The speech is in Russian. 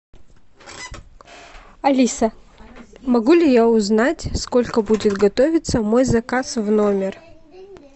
алиса могу ли я узнать сколько будет готовиться мой заказ в номер